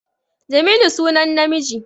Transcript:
Jamilu sunan namiji